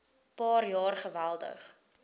paar jaar geweldig